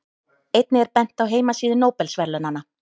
Einnig er bent á heimasíðu Nóbelsverðlaunanna.